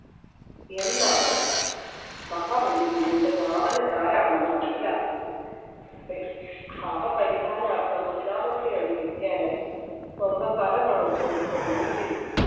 എന്നാണ് മഹാബലി പിന്നീട് വാമനൻ ആരാണെന്ന് മനസ്സിലാക്കുകയും അദ്ദേഹം പാപപരിഹാരർത്ഥം മൂന്നാമത്തെ അടി വയ്ക്കാനായി സ്വന്തം തല കാണിച്ച് കൊടുക്കുകയും ചെയ്തു.